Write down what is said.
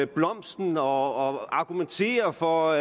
blomsten og argumenterer for